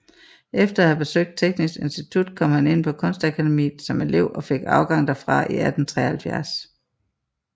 Efter at have besøgt Teknisk Institut kom han ind på Kunstakademiet som elev og fik afgang derfra i 1873